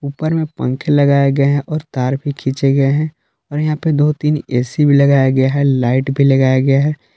ऊपर में पंखे लगाए गए हैं और तार भी खींचे गए हैं और यहां पे दो तीन ऐ_सी भी लगाया गया है लाइट भी लगाया गया है।